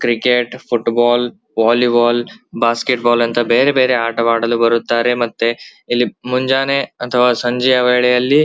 cricket football volleyball basketball ಅಂತ ಬೇರೆ ಬೇರೆ ಆಟವಾಡಲು ಬರತ್ತಾರೆ ಇಲಿ ಮುಂಜಾನೆ ಅತಃವ ಸಂಜೆಯ ವೇಳೆಯಲ್ಲಿ --